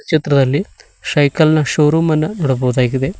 ಚಿತ್ರದಲ್ಲಿ ಶೈಕಲ್ ನ ಶೋ ರೂಮ್ ಅನ್ನು ನೋಡಬಹುದಾಗಿದೆ.